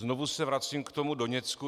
Znovu se vracím k tomu Doněcku.